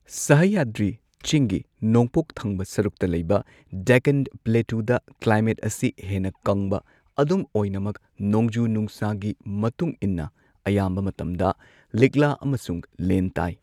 ꯁꯍꯌꯗ꯭ꯔꯤ ꯆꯤꯡꯒꯤ ꯅꯣꯡꯄꯣꯛ ꯊꯪꯕ ꯁꯔꯨꯛꯇ ꯂꯩꯕ ꯗꯦꯛꯀꯥꯟ ꯄ꯭ꯂꯦꯇꯨꯗ ꯀ꯭ꯂꯥꯏꯃꯦꯠ ꯑꯁꯤ ꯍꯦꯟꯅ ꯀꯪꯕ, ꯑꯗꯨꯝ ꯑꯣꯏꯅꯃꯛ, ꯅꯣꯡꯖꯨ ꯅꯨꯡꯁꯥꯒꯤ ꯃꯇꯨꯡ ꯏꯟꯅ ꯑꯌꯥꯝꯕ ꯃꯇꯝꯗ ꯂꯤꯛꯂꯥ ꯑꯃꯁꯨꯡ ꯂꯦꯟ ꯇꯥꯏ꯫